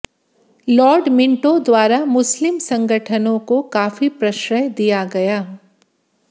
Lord Minto द्वारा मुस्लिम संगठनों को काफी प्रशय दिया गया